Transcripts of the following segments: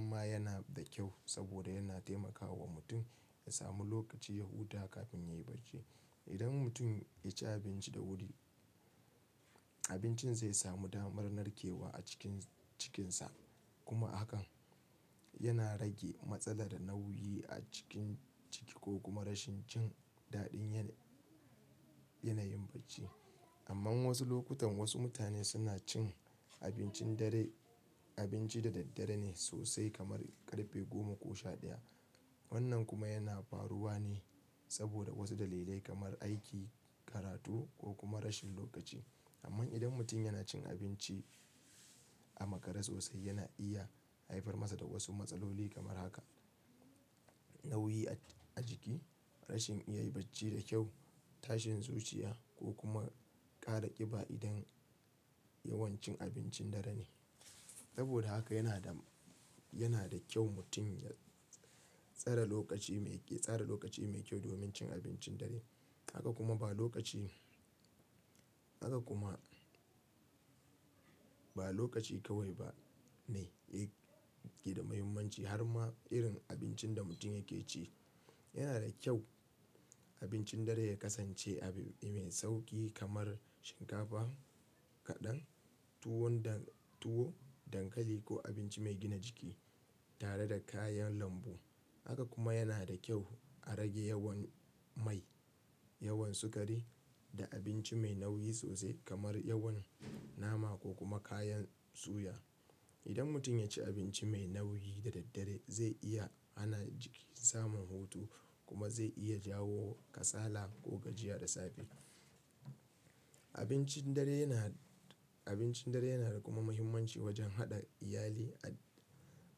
ma yana da kyau saboda yana taimakawa mutum ya samu lokaci ya huta kafin yayi bacci. Idan mutum ya ci abinci da wuri abincin zai samu damar narkewa a cikinsa kuma hakan yana rage matsala da nauyi a ciki ko kuma rashin cin daɗin yanayin bacci. Amma wasu lokutan wasu mutane suna cin abinci da daddare ne sosai kamar ƙarfe goma ko sha ɗaya. Wannan kuma yana faruwa ne saboda wasu dalilai kamar aiki, karatu ko kuma rashin lokaci. Amman idan mutum yana cin abinci a makare sosai yana iya haifar masa da wasu matsaloli kamar haka nauyi a jiki, rashin iya bacci da kyau, tashin zuciya ko kuma ƙara ƙiba idan yawancin abincin dare ne. Saboda haka yana da kyau mutum ya tsara lokaci mai kyau domin cin abincin dare. Haka kuma ba lokaci kawai ba ne yake da mahimmanci har ma irin abincin da mutum yake ci. Yana da kyau abincin dare ya kasance abinci mai sauƙi kamar shinkafa kaɗan, tuwo, dankali ko abinci mai gina jiki tare da kayan lambu. Haka kuma yana da kyau a rage yawan mai, yawan sukari da abinci mai nauyi sosai kamar yawan nama ko kuma kayan soya. Idan mutum ya ci abinci mai nauyi da daddare zai iya hana jiki samun hutu kuma zai iya jawo kasala ko gajiya da safe. Abincin dare yana da kuma mahimmanci wajen haɗa iyali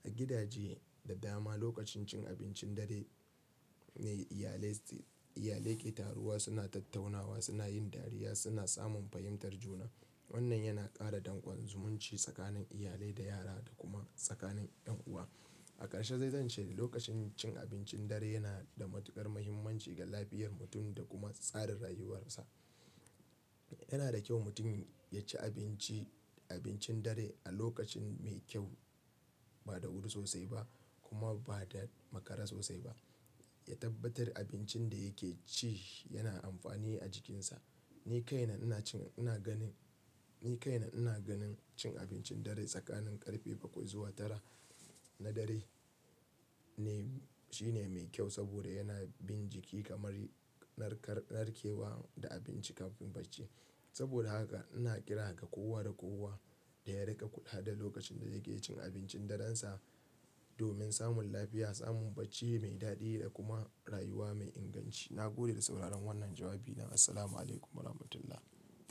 a gidaje da dama. Lokacin cin abincin dare ne iyali ke taruwa, suna tattaunawa, suna yin dariya, suna samun fahimtar juna. Wannan yana ƙara danƙon zumunci tsakanin iyali da yara da kuma tsakanin ƴan uwa. A ƙarshe dai zan ce lokacin cin abincin dare yana da matuƙar mahimmanci ga lafiyar mutum da kuma tsarin rayuwarsa. Yana da kyau mutum ya ci abincin dare a lokaci mai kyau ba da wuri sosai ba kuma ba da makare sosai ba, ya tabbatar abincin da yake ci yana amfani a jikinsa. Ni kaina ina ganin cin abincin dare tsakanin ƙarfe bakwai zuwa tara na dare shine mai kyau saboda yana bin jiki kamar narkewa da abinci kafin bacci. Saboda haka ina kira ga kowa da kowa da ya riƙa kula da lokacin da yake cin abincin darensa domin samun lafiya, samun bacci mai daɗi da kuma rayuwa mai inganci. Na gode da sauraron wannan jawabina. Assalamualaikum warahmatullahi.